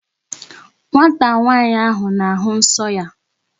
Nwata nwaanyị ahụ na-ahụ nsọ ya.